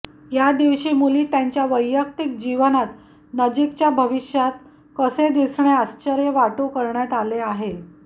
या दिवशी मुली त्यांच्या वैयक्तिक जीवनात नजीकच्या भविष्यात कसे दिसणे आश्चर्य वाटू करण्यात आले आहे